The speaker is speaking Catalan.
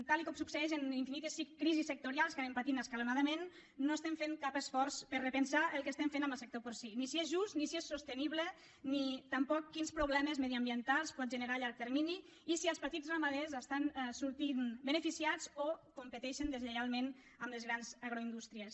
tal com succeeix en infinites crisis sectorials que anem patint escalonadament no estem fent cap esforç per repensar el que estem fent amb el sector porcí ni si és just ni si és sostenible ni tampoc quins problemes mediambientals pot generar a llarg termini ni si els petits ramaders n’estan sortint beneficiats o competeixen deslleialment amb les grans agroindústries